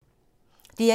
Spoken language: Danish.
DR1